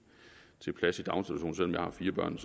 om jeg har fire børn